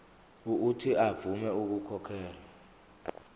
uuthi avume ukukhokhela